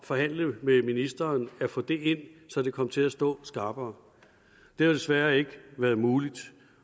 forhandlet med ministeren at få det ind så det kom til at stå skarpere det har desværre ikke været muligt